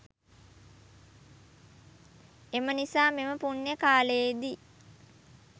එම නිසා මෙම පුණ්‍ය කාලයේදී